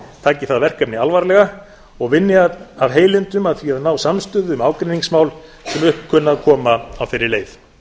taki það verkefni alvarlega og vinni af heilindum að því að ná samstöðu um ágreiningsmál sem upp kunna að koma á þeirri leið